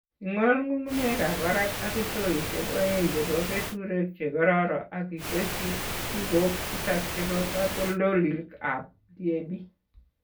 Ing'ol ng'ung'unyekab barak ak indoisiek oeng' chebo keturek chegoruryo ak itesyi kechikoik tisab chebo katoldolikab DAP.